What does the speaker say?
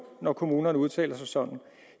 når kommunerne udtaler sig sådan